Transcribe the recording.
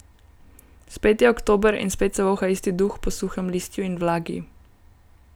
Spet je oktober in spet se voha isti duh po suhem listju in vlagi.